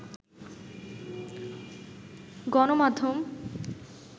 গণমাধ্যম